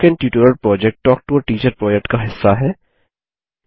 spoken tutorial project talk to a teacher project का हिस्सा है